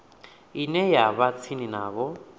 ine ya vha tsini navho